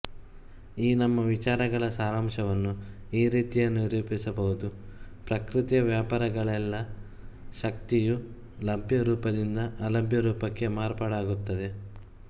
ಈ ನಮ್ಮ ವಿಚಾರಗಳ ಸಾರಾಂಶವನ್ನು ಈ ರೀತಿ ನಿರೂಪಿಸಬಹುದು ಪ್ರಕೃತಿ ವ್ಯಾಪಾರಗಳೆಲ್ಲ ಶಕ್ತಿಯು ಲಭ್ಯ ರೂಪದಿಂದ ಅಲಭ್ಯ ರೂಪಕ್ಕೆ ಮಾರ್ಪಾಡಾಗುತ್ತದೆ